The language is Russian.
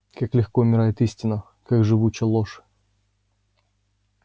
как легко умирает истина как живуча ложь